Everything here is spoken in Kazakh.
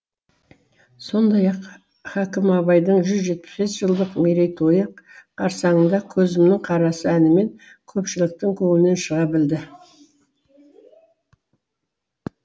сондай ақ хакім абайдың жүз жетпіс бес жылдық мерейтойы қарсаңында көзімнің қарасы әнімен көпшіліктің көңілінен шыға білді